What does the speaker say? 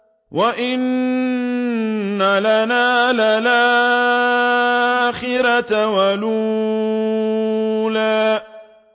وَإِنَّ لَنَا لَلْآخِرَةَ وَالْأُولَىٰ